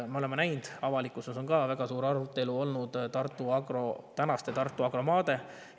Me oleme näinud, et avalikkuses on ka olnud väga suur arutelu tänaste Tartu Agro maade üle.